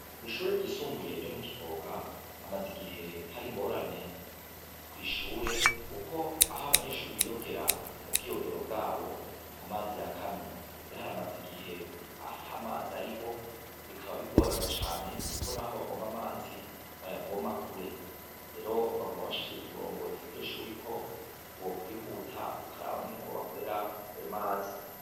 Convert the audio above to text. Ishure ry' isumbuye ryo mu kivoga, hamaz' igihe har' ingorane kw ishure, kuk' ah' abanyeshure biyogera, ubwiyogero bwab' amazi yakamye, har' amaz' igih' atamaz' ariho, bikaba bigorana cane kuko naho bavom' amazi bayavoma kure, rero baguma bashikiriz' uburongozi bwiryo shure ko bokwihuta bukarab' ingene bwobakorer' ay' amazi.